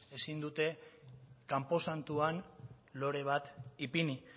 ezin dute kanposantuan lore bat ipini